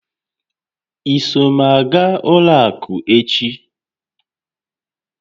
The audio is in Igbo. I so m aga ụlọ àkụ́ echi?